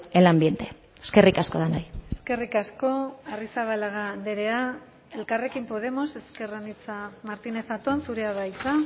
el ambiente eskerrik asko denoi eskerrik asko arrizabalaga andrea elkarrekin podemos ezker anitza martínez zaton zurea da hitza